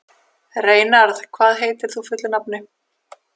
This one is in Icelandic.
Reynarð, hvað heitir þú fullu nafni?